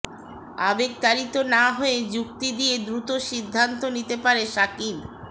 আবেগতাড়িৎ না হয়ে যুক্তি দিয়ে দ্রুত সিদ্ধান্ত নিতে পারে সাকিব